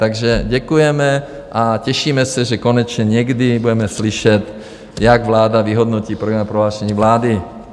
Takže děkujeme a těšíme se, že konečně někdy budeme slyšet, jak vláda vyhodnotí programové prohlášení vlády.